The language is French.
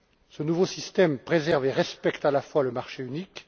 Ce nouveau système préserve et respecte à la fois le marché unique.